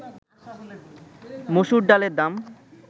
মশুর ডালের দাম